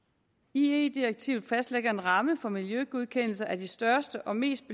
ie direktivet fastlægger en ramme for miljøgodkendelse af de største og mest